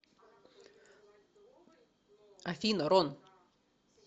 афина рон